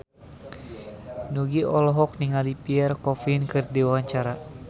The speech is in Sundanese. Nugie olohok ningali Pierre Coffin keur diwawancara